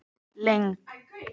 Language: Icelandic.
lengd